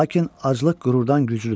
Lakin aclıq qürurdan güclüdür.